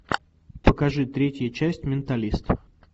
покажи третья часть менталист